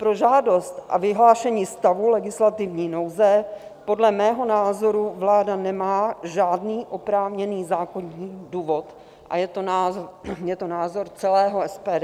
Pro žádost a vyhlášení stavu legislativní nouze podle mého názoru vláda nemá žádný oprávněný zákonný důvod a je to názor celého SPD.